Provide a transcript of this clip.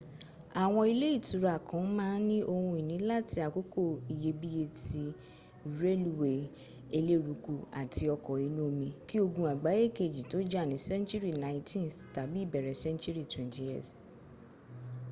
àwọn ilé ìtura kan ma n ní ohun ìní láti àkókò iyebíye ti relúwé elérúkú àtì ọkọ̀ inú omi ki ogun àgbáyé kejì tó jà ní senturi 19th tàbí ìbẹ̀rẹ̀ senturi 20th